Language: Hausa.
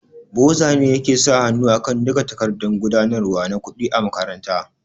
Boza ne yake sa hanu akan duka takardan gudanarwa na kuɗi a makaranta